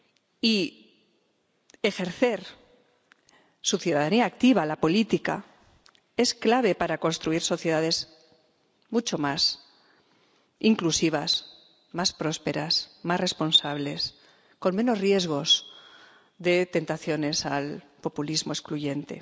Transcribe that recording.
Y ejercer su ciudadanía activa, la política, es clave para construir sociedades mucho más inclusivas, más prósperas, más responsables, con menos riesgos de tentaciones al populismo excluyente.